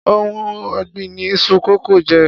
Oun ògbìn ni iṣu kókò jé.